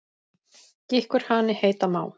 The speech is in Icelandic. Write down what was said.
Gikkur hani heita má.